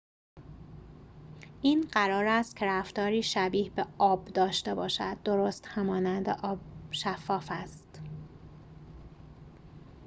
این قرار است که رفتاری شبیه به آب داشته باشد درست همانند آب شفاف است